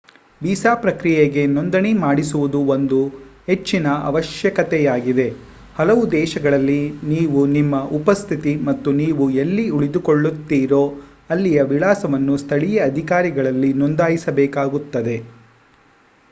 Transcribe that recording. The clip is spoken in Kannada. ವೀಸಾ ಪ್ರಕ್ರಿಯೆಗೆ ನೋಂದಣಿ ಮಾಡಿಸುವುದು ಒಂದು ಹೆಚ್ಚಿನ ಅವಶ್ಯಕತೆಯಾಗಿದೆ ಹಲವು ದೇಶಗಳಲ್ಲಿ ನೀವು ನಿಮ್ಮ ಉಪಸ್ಥಿತಿ ಮತ್ತು ನೀವು ಎಲ್ಲಿ ಉಳಿದುಕೊಳ್ಳುತ್ತೀರೋ ಅಲ್ಲಿಯವಿಳಾಸವನ್ನು ಸ್ಥಳೀಯ ಅಧಿಕಾರಿಗಳಲ್ಲಿ ನೋಂದಾಯಿಸಬೇಕಾಗುತ್ತದೆ